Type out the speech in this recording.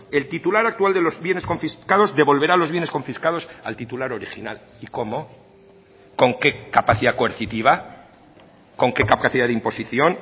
el titular actual de los bienes confiscados devolverá los bienes confiscados al titular original y cómo con qué capacidad coercitiva con qué capacidad de imposición